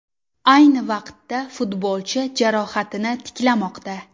Ayni vaqtda futbolchi jarohatini tiklamoqda.